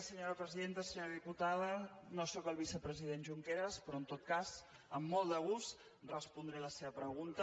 senyora diputada no soc el vicepresident junqueras però en tot cas amb molt de gust respondré la seva pregunta